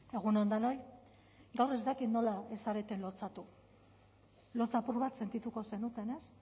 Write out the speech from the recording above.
egun on denoi gaur ez dakit nola ez zareten lotsatu lotsa apur bat sentituko zenuten ez